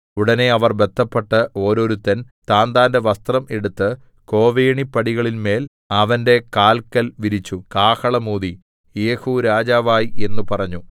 ഉടനെ അവർ ബദ്ധപ്പെട്ട് ഓരോരുത്തൻ താന്താന്റെ വസ്ത്രം എടുത്ത് കോവണിപ്പടികളിന്മേൽ അവന്റെ കാല്ക്കൽ വിരിച്ചു കാഹളം ഊതി യേഹൂ രാജാവായി എന്ന് പറഞ്ഞു